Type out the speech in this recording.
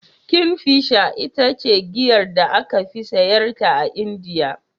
Kingfisher ita ce giyar da aka fi siyarwa a Indiya.